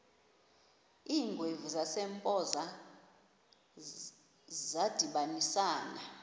iingwevu zasempoza zadibanisana